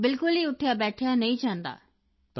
ਬਿਲਕੁਲ ਉੱਠਿਆਬੈਠਿਆ ਨਹੀਂ ਜਾਂਦਾ